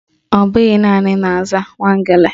Ọbụghị naanị na-aza Nwangele